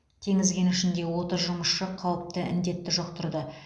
теңіз кенішінде отыз жұмысшы қауіпті індетті жұқтырды